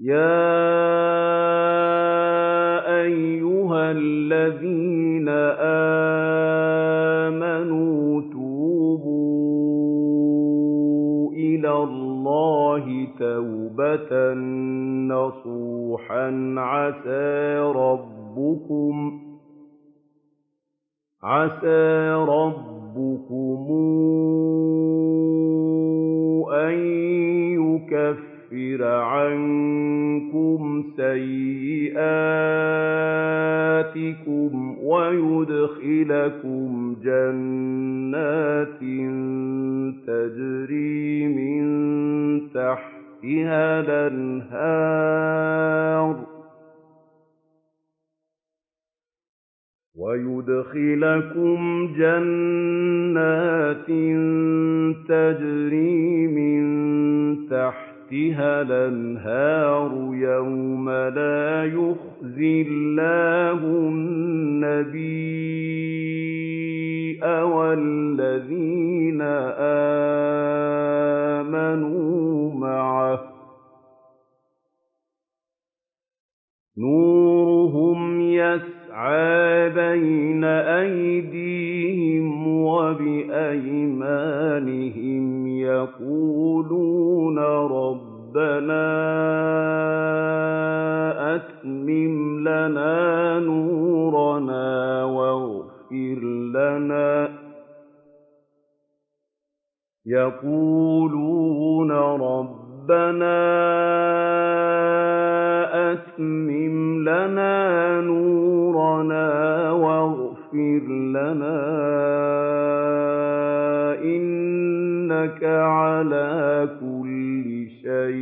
يَا أَيُّهَا الَّذِينَ آمَنُوا تُوبُوا إِلَى اللَّهِ تَوْبَةً نَّصُوحًا عَسَىٰ رَبُّكُمْ أَن يُكَفِّرَ عَنكُمْ سَيِّئَاتِكُمْ وَيُدْخِلَكُمْ جَنَّاتٍ تَجْرِي مِن تَحْتِهَا الْأَنْهَارُ يَوْمَ لَا يُخْزِي اللَّهُ النَّبِيَّ وَالَّذِينَ آمَنُوا مَعَهُ ۖ نُورُهُمْ يَسْعَىٰ بَيْنَ أَيْدِيهِمْ وَبِأَيْمَانِهِمْ يَقُولُونَ رَبَّنَا أَتْمِمْ لَنَا نُورَنَا وَاغْفِرْ لَنَا ۖ إِنَّكَ عَلَىٰ كُلِّ شَيْءٍ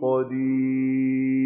قَدِيرٌ